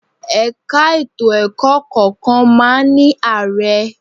Ẹ̀ka ètò ẹ̀kọ́ kọ̀ọ̀kan máa ń ní Ààrẹ